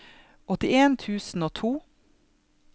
åttien tusen og to